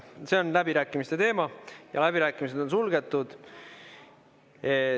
See on läbirääkimiste teema ja läbirääkimised on suletud.